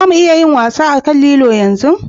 Za mu iya zuwa wasa a kan lilo yanzu?